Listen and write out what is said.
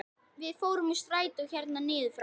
Við fórum úr strætó hérna niður frá!